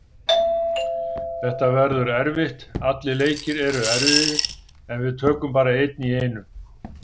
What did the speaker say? Þetta verður erfitt, allir leikir eru erfiðir en við tökum bara einn í einu.